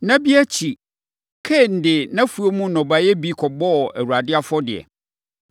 Nna bi akyiri, Kain de nʼafuom nnɔbaeɛ bi kɔbɔɔ Awurade afɔdeɛ.